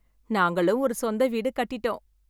நாங்களும் ஒரு சொந்த வீடு கட்டிட்டோம்.